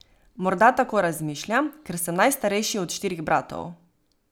Morda tako razmišljam, ker sem najstarejši od štirih bratov.